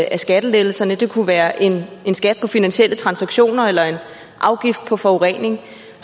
af skattelettelserne det kunne være en skat på finansielle transaktioner eller en afgift på forurening